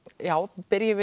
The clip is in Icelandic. byrjum við